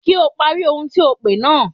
Kí o pari ohun tí ò pè náà.